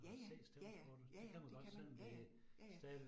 Ja ja, ja ja, ja ja, det kan man, ja ja, ja ja